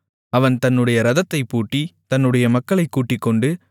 அவன் தன்னுடைய இரதத்தைப் பூட்டி தன்னுடைய மக்களைக் கூட்டிக்கொண்டு